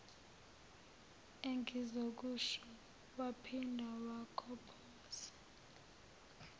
engizokusho waphinda wakhophoza